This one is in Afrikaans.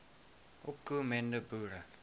opko mende boere